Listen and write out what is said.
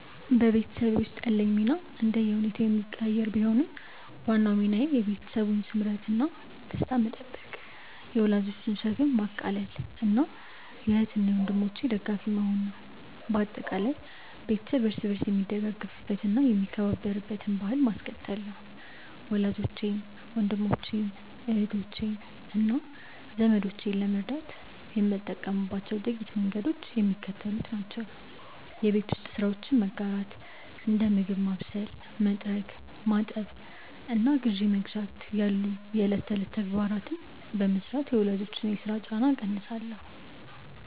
በቤተሰብ ውስጥ ያለኝ ሚና እንደየሁኔታው የሚቀያየር ቢሆንም፣ ዋናው ሚናዬ የቤተሰቡን ስምረትና ደስታ መጠበቅ፣ የወላጆችን ሸክም ማቃለልና የእህት ወንድሞቼ ደጋፊ መሆን ነው። በአጠቃላይ፣ ቤተሰብ እርስ በርስ የሚደጋገፍበትና የሚከባበርበትን ባሕል ማስቀጠል ነው። ወላጆቼን፣ ወንድሞቼን፣ እህቶቼንና ዘመዶቼን ለመርዳት የምጠቀምባቸው ጥቂት መንገዶች የሚከተሉት ናቸው የቤት ውስጥ ስራዎችን መጋራት፦ እንደ ምግብ ማብሰል፣ መጥረግ፣ ማጠብና ግዢ መግዛት ያሉ የዕለት ተዕለት ተግባራትን በመሥራት የወላጆችን የሥራ ጫና እቀንሳለሁ